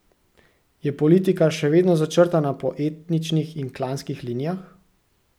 Je politika še vedno začrtana po etničnih in klanskih linijah?